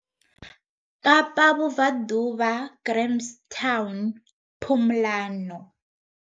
Kapa Vhubvaḓuvha Grahamstown, Pumlano.